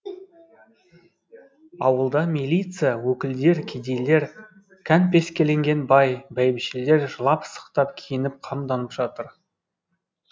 ауылда милиция өкілдер кедейлер кәнпескеленген бай бәйбішелер жылап сықтап киініп қамданып жатыр